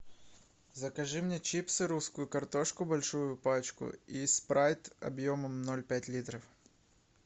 закажи мне чипсы русскую картошку большую пачку и спрайт объемом ноль пять литров